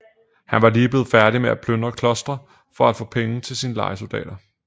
Han var lige blevet færdig med at plyndre klostre for at få penge til sine lejesoldater